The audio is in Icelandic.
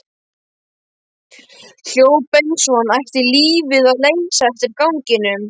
Hljóp eins og hann ætti lífið að leysa eftir ganginum.